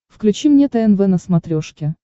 включи мне тнв на смотрешке